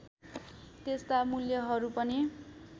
त्यस्ता मूल्यहरू पनि